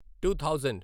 to thousand